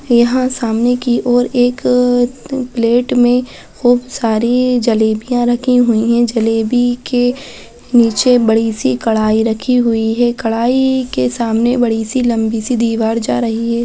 यहाँ सामने की और एक प्लेट में खूब सारी जलेबियाँ रखी हुई है जलेबी के नीचे बड़ी-सी कढ़ाई रखी हुई है कढ़ाई के सामने बड़ी-सी लम्बी-सी दीवार जा रही है।